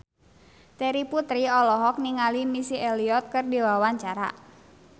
Terry Putri olohok ningali Missy Elliott keur diwawancara